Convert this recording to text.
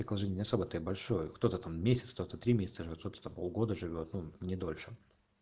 так он же не особо там и большой кто-то там месяц кто то три месяца живёт кто то там полгода живёт ну не дольше